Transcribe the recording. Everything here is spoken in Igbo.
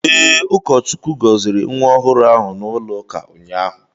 Ee, ụkọchukwu gọziri nwa ọhụrụ ahụ n'ụlọụka ụnyahụ.